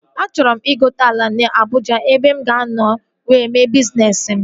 Achọrọ m ịgote ala na Abụja ebe mụ ga-anọ wee mee bizness m